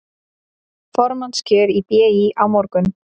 Formannskjör í BÍ á morgun